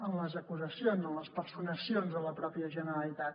en les acusacions en les personacions de la pròpia generalitat